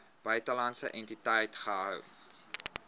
buitelandse entiteit gehou